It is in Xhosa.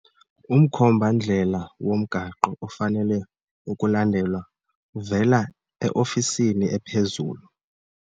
Umkhomba-ndlela womgaqo ofanele ukulandelwa uvela eofisini ephezulu.